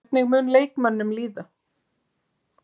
Hvernig mun leikmönnum líða?